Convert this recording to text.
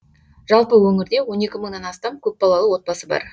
жалпы өңірде он екі мыңнан астам көпбалалы отбасы бар